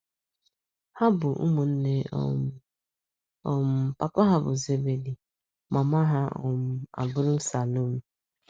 Ha bụ ụmụnne um. um Papa ha bụ Zebedi, mama ha um abụrụ Salomi.